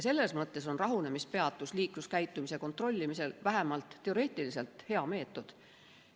Selles mõttes on rahunemispeatus liikluskäitumise kontrollimisel vähemalt teoreetiliselt hea meetod.